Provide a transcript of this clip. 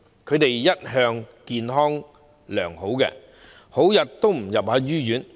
他們一向健康良好，很少入醫院。